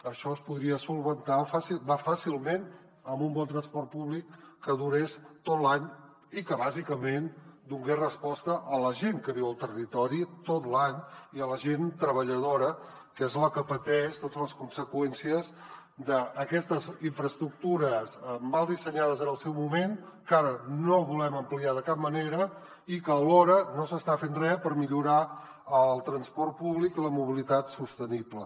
això es podria resoldre fàcilment amb un bon transport públic que durés tot l’any i que bàsicament donés resposta a la gent que viu al territori tot l’any i a la gent treballadora que és la que pateix totes les conseqüències d’aquestes infraestructures mal dissenyades en el seu moment que ara no volem ampliar de cap manera i que alhora no s’està fent re per millorar el transport públic ni la mobilitat sostenible